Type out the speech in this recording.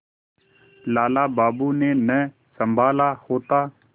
लाला बाबू ने न सँभाला होता